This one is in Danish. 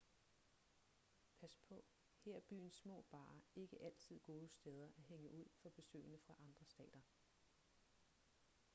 pas på her er byens små barer ikke altid gode steder at hænge ud for besøgende fra andre stater